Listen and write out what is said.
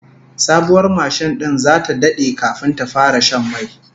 Sabuwar mashin din zata dade kafin ta fara shan mai